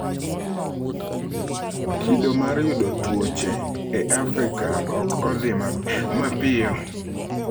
‘Kido mar yudo tuoche e Afrika ok odhi mapiyo.